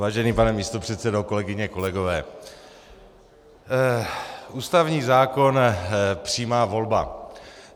Vážený pane místopředsedo, kolegyně, kolegové, ústavní zákon, přímá volba.